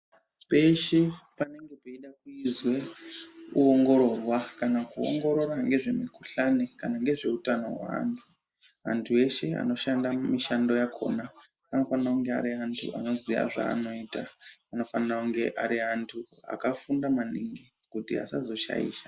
Peshe panenge peida kuizwe ,kuongororwa kana kuongorora ngezvemikhuhlane kana ngezveutano hweantu. Antu eshe anoshanda mumishando yakhona anofana kunge ari antu anoziya zvaanoita. Anofanira kunge ari antu akafunda maningi kuti asazoshaisha.